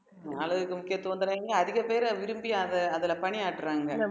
அழகுக்கு முக்கியத்துவம் தராதீங்க அதிக பேர விரும்பி அத அதுல பணியாட்டறாங்க